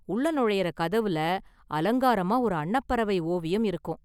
உள்ள நொழையுற கதவுல அலங்காரமா ஒரு அன்னப்பறவை ஓவியம் இருக்கும்.